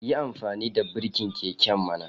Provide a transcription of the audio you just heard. Yi amfani da birkin keken mana